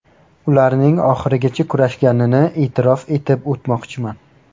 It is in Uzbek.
Ularning oxirigacha kurashganini e’tirof etib o‘tmoqchiman.